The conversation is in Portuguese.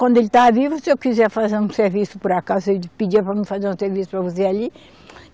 Quando ele estava vivo, se eu quiser fazer um serviço por acaso, ele pedia para mim fazer um serviço para você ali.